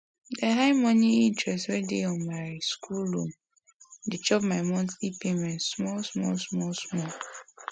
the high moneinterest wey dey on my school loan dey chop my monthly payment small small small small